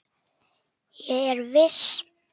Ég er viss.